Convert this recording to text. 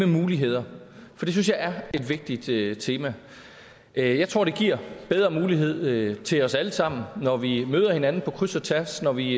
muligheder for det synes jeg er et vigtigt tema jeg tror det giver bedre muligheder til os alle sammen når vi møder hinanden på kryds og tværs når vi